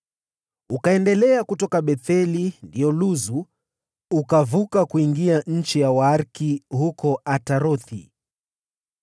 Ukaendelea kutoka Betheli (ndiyo Luzu), ukavuka kuingia eneo la Waariki huko Atarothi,